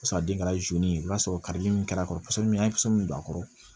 Paseke a den kɛra ye i b'a sɔrɔ karili min kɛra a kɔrɔ ni don a kɔrɔ